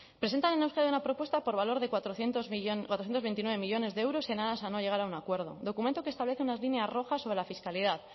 presentan en euskadi una propuesta por valor de cuatrocientos veintinueve millónes de euros en aras a no llegar a un acuerdo documento que establece unas líneas rojas sobre la fiscalidad